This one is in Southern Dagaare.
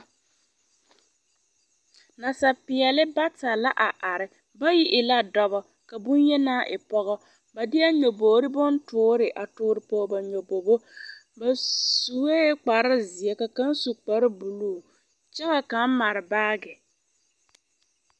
Nasapeɛle bata la a are bayi e la dɔba ka boŋyenaa e pɔgɔ ba deɛ nyɔbogri bontoore a toore pɔge nyɔbogo ba sue kparre seɛ ka kaŋ su kparre buluu kyɛ ka kaŋa mare baagi.